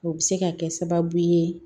O bɛ se ka kɛ sababu ye